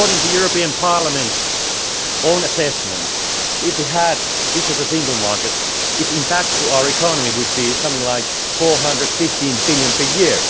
According to the European Parliament's own assessment, if we had a Digital Single Market, its impact on our economy would be something like EUR 415 billion per year.